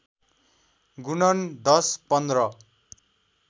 गुणन १० १५